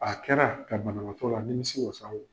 A kɛra ka banabaatɔ la a nimisi wasa